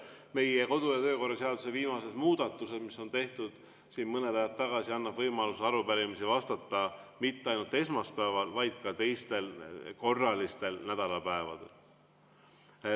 Meie kodu- ja töökorra seaduse viimane muudatus, mis on tehtud mõni aeg tagasi, annab võimaluse arupärimistele vastata mitte ainult esmaspäeval, vaid ka teistel korralistel nädalapäevadel.